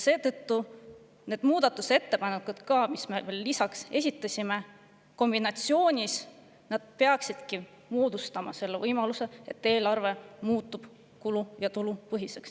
Seetõttu need muudatusettepanekud, mis me lisaks esitasime, kombinatsioonis peaksidki andma selle võimaluse, et eelarve muutub kulu- ja tulupõhiseks.